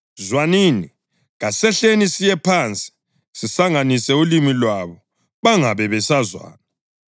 Zwanini, kasehleni siye phansi sisanganise ulimi lwabo bangabe besazwana.”